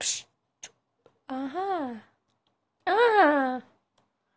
ага ага